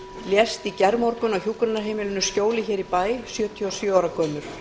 lést í gærmorgun á hjúkrunarheimilinu skjóli hér í bæ sjötíu og sjö ára gömul